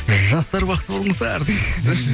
жастар бақытты болыңыздар